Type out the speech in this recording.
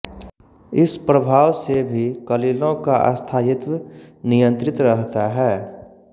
इस प्रभाव से भी कलिलों का स्थायित्व नियंत्रित रहता है